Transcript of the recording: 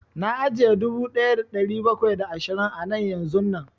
Na aje dubu ɗaya da ɗari bakwai da ashirin a nan yanzun nan